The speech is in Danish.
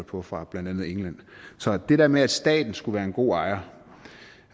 på fra blandt andet england så det der med at staten skulle være en god ejer og